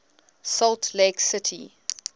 salt lake city